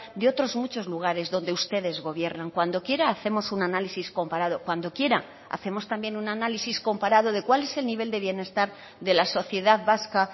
de otros muchos lugares donde ustedes gobiernan cuando quiera hacemos un análisis comparado cuando quiera hacemos también un análisis comparado de cuál es el nivel de bienestar de la sociedad vasca